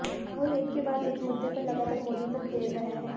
राहुल एक के बाद एक मुद्दे पर लगातार मोदी को घेर रहे हैं